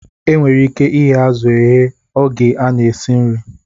E nwere ike ighe azụ eghe oge a na-esi nri